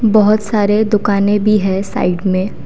बहोत सारे दुकाने भी है साइड में।